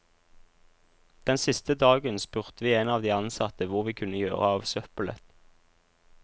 Den siste dagen spurte vi en av de ansatte hvor vi kunne gjøre av søppelet.